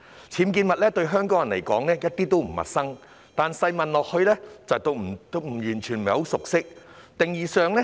僭建物對香港人而言一點都不陌生，但細問之下，我們會發現他們對僭建物的認識不深。